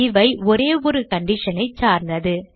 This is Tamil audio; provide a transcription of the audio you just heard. இவை ஒரே ஒரு condition ஐ சார்ந்தது